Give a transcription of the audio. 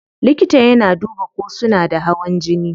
Likita yana duba ko suna da hawan jini.